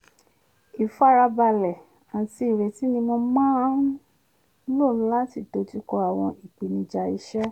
ífaradà àti ìrètí ni mo máa n lò láti kojú àwọn ìpèníjà iṣẹ́